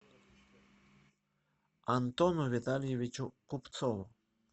антону витальевичу купцову